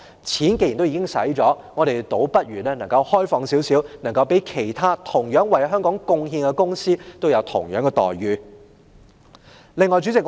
既然錢已經花了，我們倒不如開放一點，讓其他同樣為香港貢獻的公司得到相同待遇。